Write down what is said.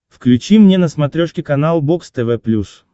включи мне на смотрешке канал бокс тв плюс